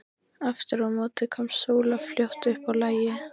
Aftur á móti komst Sóla fljótt upp á lagið.